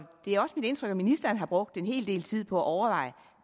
det er også mit indtryk at ministeren har brugt en hel del tid på at overveje